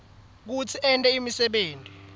kutsi ente imisebenti